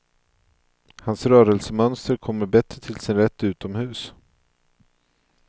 Hans rörelsemönster kommer bättre till sin rätt utomhus.